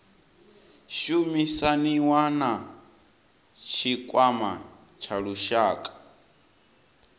shumisaniwa na tshikwama tsha lushaka